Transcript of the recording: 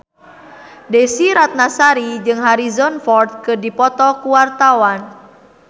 Desy Ratnasari jeung Harrison Ford keur dipoto ku wartawan